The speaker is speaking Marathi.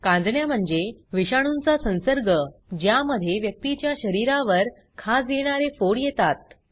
कांजिण्या म्हणजे विषाणूंचा संसर्ग ज्यामधे व्यक्तीच्या शरीरावर खाज येणारे फोड येतात